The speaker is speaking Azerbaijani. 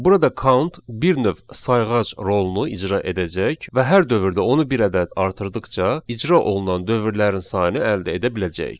Burada count bir növ sayğac rolunu icra edəcək və hər dövrdə onu bir ədəd artırdıqca icra olunan dövrlərin sayını əldə edə biləcəyik.